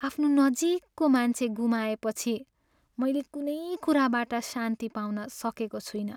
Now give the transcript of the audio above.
आफ्नो नजिकको मान्छे गुमाएपछि मैले कुनै कुराबाट शान्ति पाउन सकेको छुइनँ।